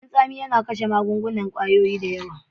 Leman tsami yana kashe kwayoyin cuta da yawa.